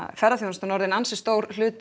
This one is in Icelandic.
ferðaþjónustan er orðin ansi stór hluti